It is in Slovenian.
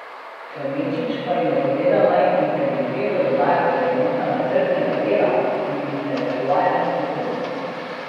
Klemenčič pa jim je povedal, naj integriteto dodajo k vrednotama trdega dela in intelektualne sposobnosti.